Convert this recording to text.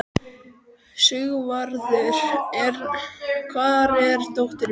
Sigvarður, hvar er dótið mitt?